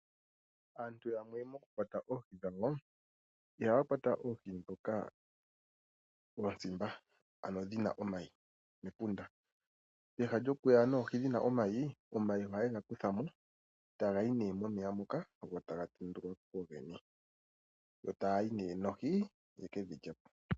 Aantu yamwe mokukwata oohi dhawo, ihaya kwata oohi ndhoka oosimba, ano dhi na omayi mepunda. Peha lyokuya nomayi, omayi ohaye ga kutha mo e taga yi nee momeya moka go taga tendulwa po kugo gene. Yo taya yi nee noohi ye ke dhi lye po.